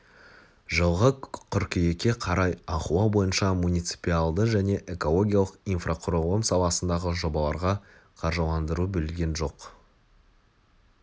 жылғы қыркүйекке қарай ахуал бойынша муниципалды және экологиялық инфрақұрылым саласындағы жобаларға қаржыландыру бөлген жоқ